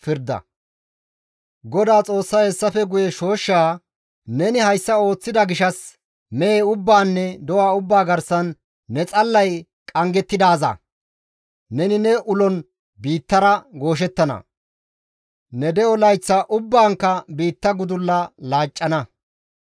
GODAA Xoossay hessafe guye shooshshaa, «Neni hayssa ooththida gishshas, mehe ubbaanne do7a ubbaa garsan ne xallay qanggettidaaza! Neni ne ulon biittara gooshettana; ne de7o layth ubbaankka biitta gudulla laacca.